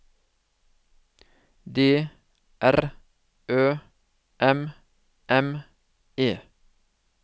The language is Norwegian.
D R Ø M M E